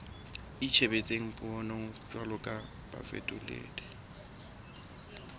itshebetsang puong jwalo ka bafetoledi